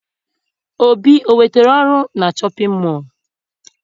Obi enwetara ọrụ na shọpịn mọọ?